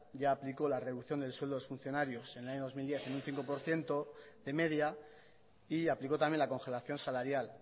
ya aplicó la reducción del sueldo de los funcionarios en el año dos mil diez en un cinco por ciento de media y aplicó también la congelación salarial